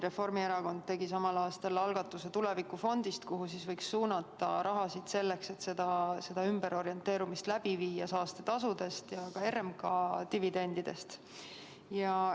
Reformierakond tegi samal aastal algatuse luua tulevikufond, kuhu võiks suunata raha nii, et see ümberorienteerumine läbi viia saastetasude ja ka RMK dividendide abil.